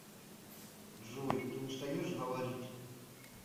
джой ты устаешь говорить